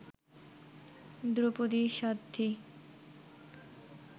Draupadi Sadhvi